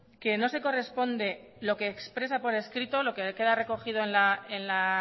que no se corresponde lo que expresa por escrito lo que queda recogido en la